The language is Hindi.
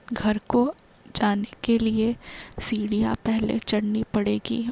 घर को जाने के लिए सीढ़ियां पहले चढ़नी पड़ेगी।